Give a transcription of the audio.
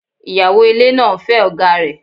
Ìyàwó ilé náà ń fẹ́ ọ̀gáa rẹ̀.